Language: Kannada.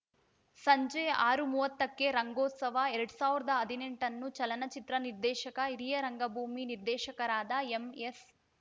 ಸಂಜೆ ಆರು ಮೂವತ್ತಕ್ಕೆ ರಂಗೋತ್ಸವ ಎರಡ್ ಸಾವಿರದ ಹದಿನೆಂಟನ್ನು ಚಲನಚಿತ್ರ ನಿರ್ದೇಶಕ ಹಿರಿಯ ರಂಗಭೂಮಿ ನಿರ್ದೇಶಕರಾದ ಎಂಎಸ್‌